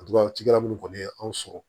minnu kɔni ye anw sɔrɔ